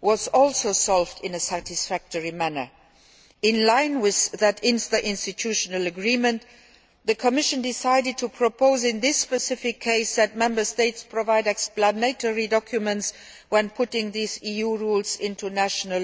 was also solved in a satisfactory manner. In line with that interinstitutional agreement, the Commission decided to propose in this specific case that Member States provide explanatory documents when putting these EU rules into national